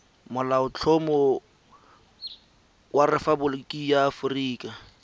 molaotlhomo wa rephaboliki ya aforika